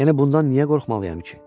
Yəni bundan niyə qorxmalıyam ki?